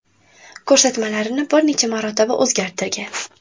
Ko‘rsatmalarini bir necha marotaba o‘zgartirgan.